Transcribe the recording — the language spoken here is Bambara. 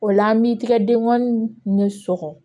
O la an b'i tigɛ denkɔni ni sɔgɔ